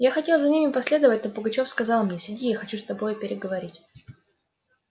я хотел за ними последовать но пугачёв сказал мне сиди я хочу с тобою переговорить